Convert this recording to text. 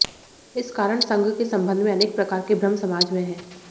इस कारण संघ के संबंध में अनेक प्रकार के भ्रम समाज में हैं